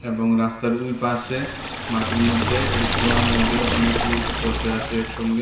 এবং রাস্তার উইপাশে মাঠের মধ্যে এর কোণার মধ্যে অনেক লোক বসে আছে একসঙ্গে।